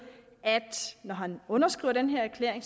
at når han underskriver den her erklæring